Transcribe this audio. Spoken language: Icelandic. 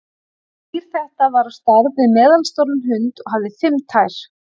Dýr þetta var á stærð við meðalstóran hund og hafði fimm tær.